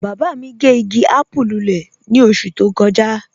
Baba mi gẹ́ igi àpùú lúlẹ̀ ni oṣù tó kọja.